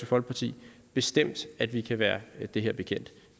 folkeparti bestemt at vi kan være det her bekendt